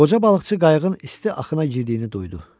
Qoca balıqçı qayığın isti axına girdiyini duydu.